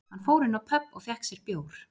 Hann fór inn á pöbb og fékk sér bjór